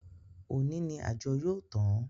Òní ni àjọ yóò tán